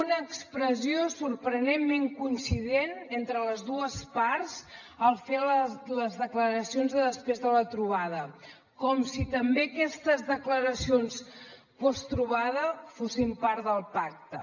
una expressió sorprenentment coincident entre les dues parts al fer les declaracions de després de la trobada com si també aquestes declaracions posttrobada fossin part del pacte